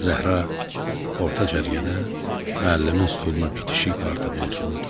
Zəhra orta cərgədə müəllimin stoluna bitişik partada otururdu.